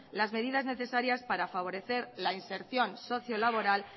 las medidas necesarias para favorecer la inserción socio laboral